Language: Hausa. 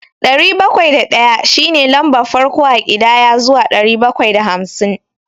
Ɗari bakwai da ɗaya shi ne lambar farko a ƙidaya zuwa ɗari bakwai da hamsin.